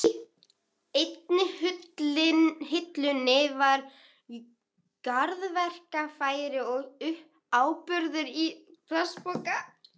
Í einni hillunni voru garðverkfæri og áburður í plastpoka.